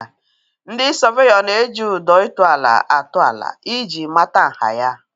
Ndị sọveyọ na-eji ụdọ ịtụ ala atụ ala ị ji mata nha ya.